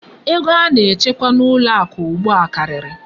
Ego a na-echekwa n'ụlọ akụ ugbu a karịrị.